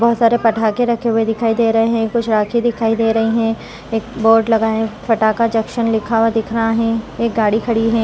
बहुत सारे पटाखे रखे हुए दिखाई दे रहे है कुछ राखी दिखाई दे रहे है बोर्ड लगा है एक वाट लगाया पटाखा जंक्शन लग लिखा हुआ दिख रहा हैं एक गाड़ी खड़ी है।